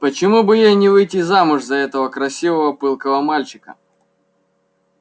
почему бы ей не выйти замуж за этого красивого пылкого мальчика